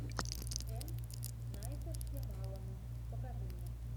м найта шьямалана покажи мне